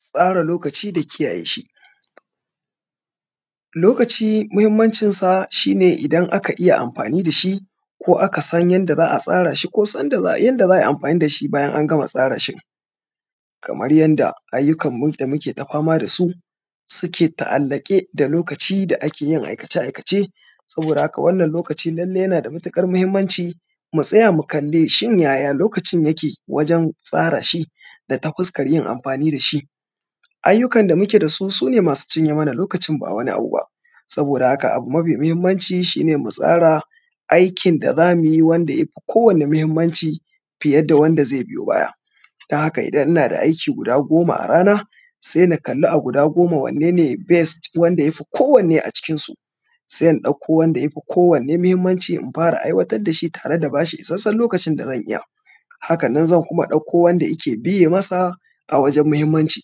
Tsara lokaci da kiyaye shi. Lokaci muhimmancinsa shi ne idan aka iya amfani da shi, ko aka san yadda za a tsara shi ko yanda za a yi amfani da shi bayan an gama tsara shi ɗin. Kaman yanda ayyukanmu da muke fama da su suke ta’allaƙe da lokaci da ake yin aikace-aikace. Saboda haka wannan lokaci lalle yana da mutuƙar muhimmanci, mu tsaya mu kalli shin yaya lokacin yake wajen tsara shi da ta fuskar yin amfani da shi? Ayyukan da muke da su su ne masu cinye mana lokacin ba wani abu ba. Saboda haka, abu ma fi muhimmanci shi ne mu tsara. aikin da za mu yi wanda ya fi kowanne muhimmanci, fiye da wanda zai biyo baya. Don haka idan ina da aiki guda goma a rana, sai na kalli a guda goman, wanne ne best wanda ya fi kowanne a cikinsu. Sai in ɗauko wanda ya fi kowanne muhimmanci in fara aiwatar da shi tare da ba shi isasshen lokacin da zan iya. Haka nan zan kuma ɗauko wanda yake biye masa a wajen muhimmanci,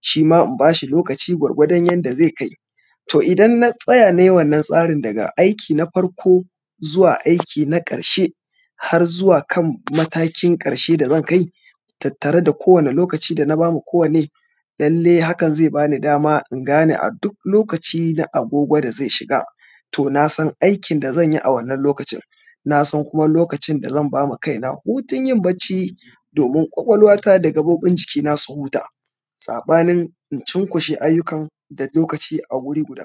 shi ma in ba shi lokaci gwargwadon yanda zai kai. To idan na tsaya na yi wannan tsarin daga aiki na farko, zuwa aiki na ƙarshe, har zuwa kan matakin ƙarshe da zan kai, tattare da kowanne lokaci da na ba ma kowanne,. Lallai hakan zai ba ni dama in gane a duk lokaci na agogo da zai shiga, to na san aikin da zan yi a wannan lokacin, na san kuma lokacin da zan ba ma kaina hutun yin bacci, domin ƙwaƙwalwata da gaɓoɓin jikina su huta. Saɓanin in cinkushe ayyukan da lokaci a guri guda.